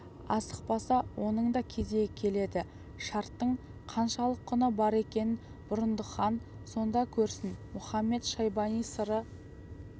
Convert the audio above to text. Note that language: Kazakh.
асықпаса оның да кезегі келеді шарттың қаншалық құны бар екенін бұрындық хан сонда көрсін мұхамед-шайбани сыры